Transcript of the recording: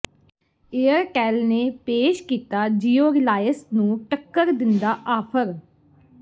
Airtel ਨੇ ਪੇਸ਼ ਕੀਤਾ ਜੀਓ ਰਿਲਾਇਸ ਨੂੰ ਟੱਕਰ ਦਿੰਦਾ ਆਫਰ